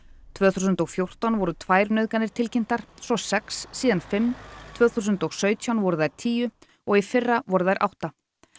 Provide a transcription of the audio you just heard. tvö þúsund og fjórtán voru tvær nauðganir tilkynntar svo sex síðan fimm tvö þúsund og sautján voru þær tíu og í fyrra voru þær átta